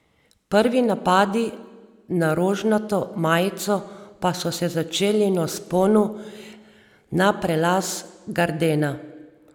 Prvi napadi na rožnato majico pa so se začeli na vzponu na prelaz Gardena.